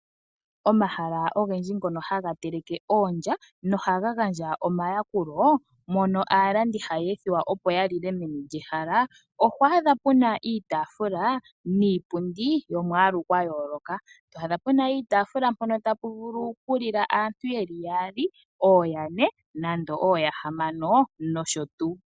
Omahala ogendji ngono haga teleke oondja, ohaga gandja omayakulo mono aalandi haya ethiwa opo yalile meni lyehala moka. Oho adha puna iitaafula niipundi yomwaalu gwa yooloka, to adha puna iitaafula mpono tapu vulu oku lila aantu yeli yaali, ooyane nenge ooyahamano nosho tuu.